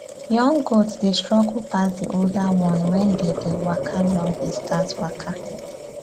young goat dey struggle pass the older one wen they dey waka long distance waka